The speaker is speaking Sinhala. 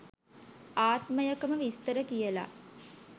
ආත්මයකම විස්තර කියලා.